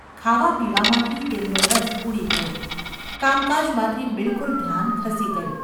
ખાવાપીવામાંથી તેમનો રસ ઊડી ગયો, કામકાજમાંથી બિલકુલ ધ્યાન ખસી ગયું.